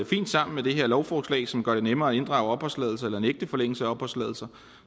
fint sammen med det her lovforslag som gør det nemmere at inddrage opholdstilladelser eller nægte forlængelse af opholdstilladelser